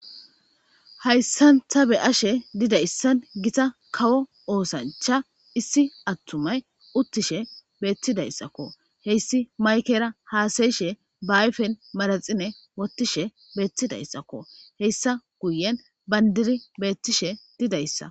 Hayssan ta be7ashe dizayssan gita kawo oosancha issi attumay uttishe beetidayssako. Hessi maykkera haasayishe ba ayfen manaxire wotishe beetidyssakko. Hessa guyen banddiri beetishe didayssa.